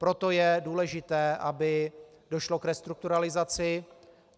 Proto je důležité, aby došlo k restrukturalizaci.